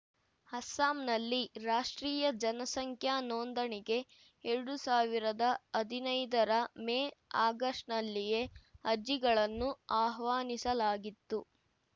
ಅಸ್ಸಾಂನಲ್ಲಿ ರಾಷ್ಟ್ರೀಯ ಜನಸಂಖ್ಯಾ ನೋಂದಣಿಗೆ ಎರಡು ಸಾವಿರದ ಹದಿನೈದರ ಮೇ ಆಗಸ್ಟ್‌ನಲ್ಲಿಯೇ ಅರ್ಜಿಗಳನ್ನು ಆಹ್ವಾನಿಸಲಾಗಿತ್ತು